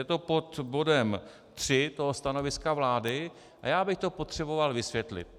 Je to pod bodem 3 toho stanoviska vlády a já bych to potřeboval vysvětlit.